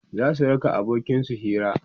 zasu raka abokin su Hira